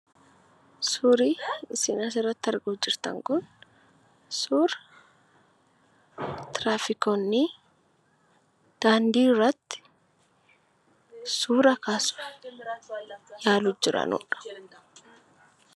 Suurri isin asirratti arguutti jirtan kun suura tiraafikoonni daandiirratti suura kaasuutti jiraniidha.